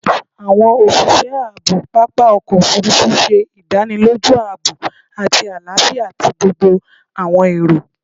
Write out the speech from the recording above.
Awọn oṣiṣẹ aabo papa ọkọ ofurufu ṣe idaniloju aabo ati alafia ti gbogbo awọn ero